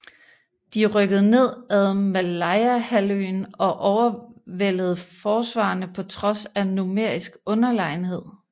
De rykkede ned ad Malayahalvøen og overvældede forsvarerne på trods af numerisk underlegenhed